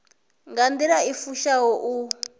nga nḓila i fushaho u